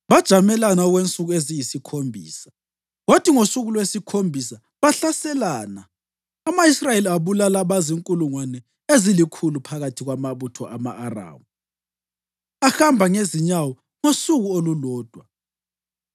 Bajamelana okwensuku eziyisikhombisa, kwathi ngosuku lwesikhombisa bahlaselana. Ama-Israyeli abulala abazinkulungwane ezilikhulu phakathi kwamabutho ama-Aramu ahamba ngezinyawo ngosuku olulodwa.